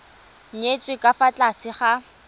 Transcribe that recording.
nyetswe ka fa tlase ga